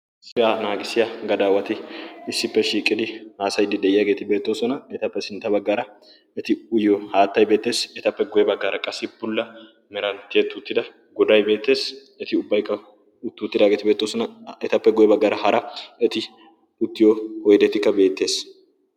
siyaa naagisiya gadaawati issippe shiiqidi haasayiddi de'iyaageeti beettoosona. etappe sintta baggaara eti uyyo haattay beetteessi etappe guye baggaara qassi pulla meranttiye tuuttida goday beettees eti ubbaykka utti uttidaageeti beettosona. etappe goye baggaara hara eti uttiyo oydetikka beettees.